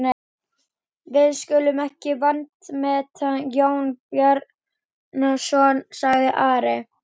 Við skulum ekki vanmeta Jón Bjarnason, sagði Ari.